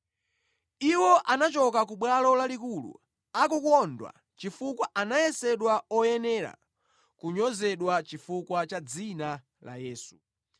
Iwo anachoka ku Bwalo Lalikulu akukondwa chifukwa anayesedwa oyenera kunyozedwa chifukwa cha dzina la Yesu.